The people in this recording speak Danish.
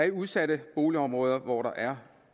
i udsatte boligområder hvor der er